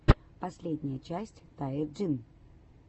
последняя часть тае джин